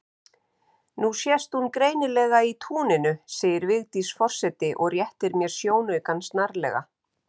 Nú sést hún greinilega í túninu segir Vigdís forseti og réttir mér sjónaukann snarlega.